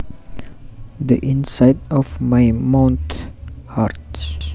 The inside of my mouth hurts